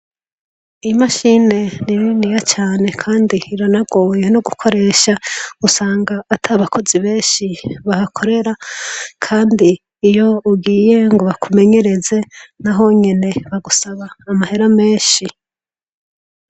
Imashine ni niniya cane kandi iranagoye no gukoresha usanga ata bakozi benshi bahakorera kandi iyo ugiye ngo bakumenyereze nahonyene bagusaba amahera menshi.